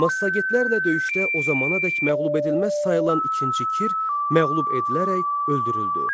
Massagetlərlə döyüşdə o zamanadək məğlubedilməz sayılan ikinci Kir məğlub edilərək öldürüldü.